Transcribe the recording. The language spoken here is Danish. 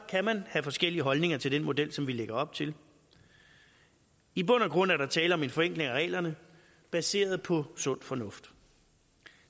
kan man have forskellige holdninger til den model som vi lægger op til i bund og grund er der tale om en forenkling af reglerne baseret på sund fornuft